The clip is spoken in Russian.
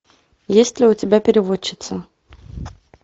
есть ли у тебя переводчица